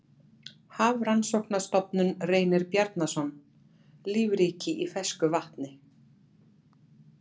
Heimildir Hafrannsóknarstofnun Reynir Bjarnason, Lífríkið í fersku vatni.